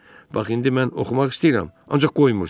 Bax indi mən oxumaq istəyirəm, ancaq qoymursuz.